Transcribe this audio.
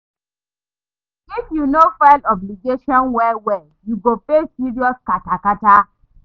If yu no file obligations well well, yu go face serious kata kata